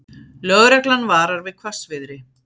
Lögreglan varar við hvassviðri